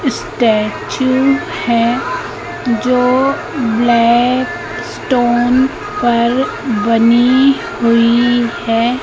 Statue है जो black stone पर बनी हुई है।